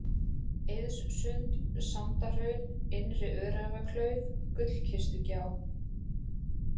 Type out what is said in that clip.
Eiðssund, Sandahraun, Innri-Öræfaklauf, Gullkistugjá